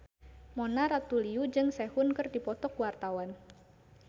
Mona Ratuliu jeung Sehun keur dipoto ku wartawan